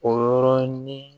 O yɔrɔnin